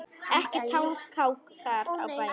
Ekkert hálfkák þar á bæ.